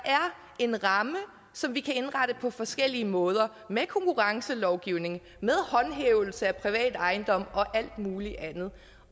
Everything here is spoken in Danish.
en ramme som vi kan indrette på forskellige måder med konkurrencelovgivning med håndhævelse af privat ejendomsret og alt muligt andet